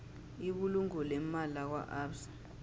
ibulungo leemali lakwaabsa